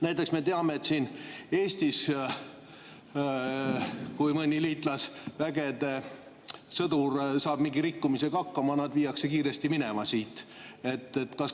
Näiteks me teame, et kui Eestis mõni liitlasvägede sõdur saab mingi rikkumisega hakkama, siis ta viiakse kiiresti siit minema.